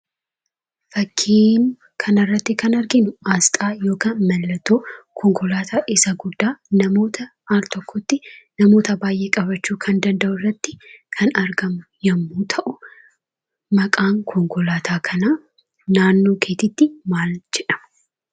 Fakkii kanarratti kan arginu Aasxaa yookaan mallattoo Konkolaataa isa guddaa namoota altokkotti namoota baay'ee qabaachuu kan danda’u irratti kan argamu yommuu ta'u, maqaan Konkolaataa kanaa naannoo keetti maal jedhama?